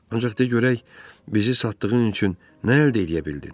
Ancaq de görək, bizi satdığın üçün nə əldə eləyə bildin?